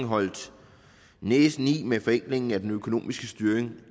holdt næsen i med forenklingen af den økonomiske styring